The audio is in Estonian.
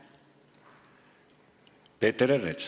Peeter Ernits.